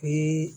O ye